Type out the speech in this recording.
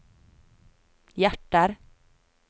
hjerter